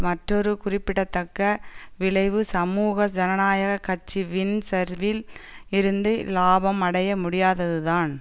மற்றொரு குறிப்பிடத்தக்க விளைவு சமூக ஜனநாயக கட்சி வின் சர்வில் இருந்து இலாபம் அடைய முடியாததுதான்